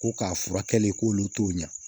Ko k'a furakɛli k'olu t'o ɲɛ